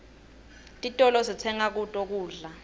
titolo sitsenga kuto kudla